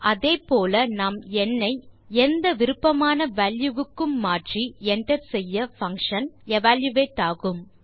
அதே போல நாம் ந் ஐ எந்த விருப்பமான வால்யூ க்கும் மாற்றி என்டர் செய்ய பங்ஷன் எவல்யூயேட் ஆகும்